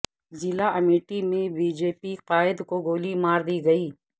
ضلع امیٹھی میں B J P قائد کو گولی مار دی گئی